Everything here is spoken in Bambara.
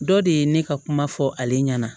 Dɔ de ye ne ka kuma fɔ ale ɲɛna